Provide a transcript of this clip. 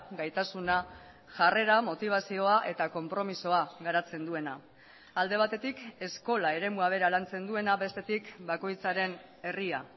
gaitasuna jarrera motibazioa eta konpromisoa garatzen duena alde batetik eskola eremua bera lantzen duena bestetik bakoitzaren herria